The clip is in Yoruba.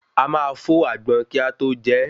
A máa n fó àgbọn kí a tó je